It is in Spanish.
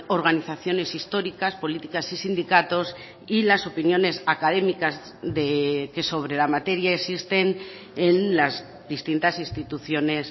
organizaciones históricas políticas y sindicatos y las opiniones académicas que sobre la materia existen en las distintas instituciones